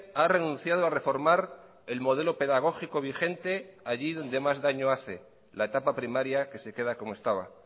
ha renunciado a reformar el modelo pedagógico vigente allí donde más daño hace la etapa primaria que se queda como estaba